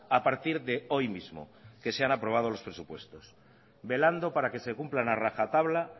a partir de hoy mismo que se han aprobado los presupuestos velando para que se cumplan a rajatabla